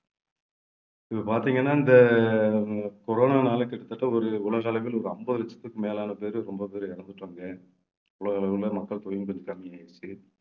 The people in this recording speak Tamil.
இதில பார்த்தீங்கன்னா இந்த corona னால கிட்டத்தட்ட ஒரு உலக அளவில் ஒரு ஐம்பது லட்சத்துக்கும் மேலான பேரு ரொம்ப பேரு இறந்துட்டாங்க. உலக அளவுல மக்கள் தொகையும் கொஞ்சம் கம்மியாயிருச்சு.